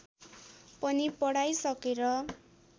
पनि पढाइ सकेर